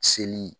Seli